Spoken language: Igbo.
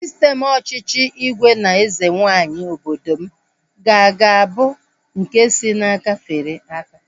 Sistem ọchịchị ígwè na eze nwaanyị obodo m ka ga-abụ nke si n'aka fere aka